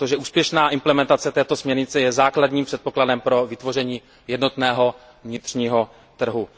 Úspěšná implementace této směrnice je základním předpokladem pro vytvoření jednotného vnitřního trhu.